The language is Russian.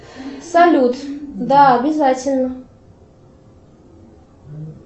салют да обязательно